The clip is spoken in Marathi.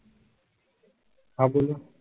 हां बोला.